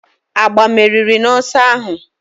Agba meriri n'ọsọ ahụ